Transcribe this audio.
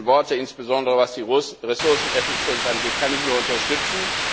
Ihre letzten Worte, insbesondere was die Ressourceneffizienz angeht, kann ich nur unterstützen.